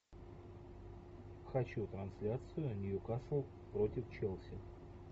хочу трансляцию ньюкасл против челси